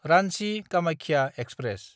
रान्चि–कामाख्या express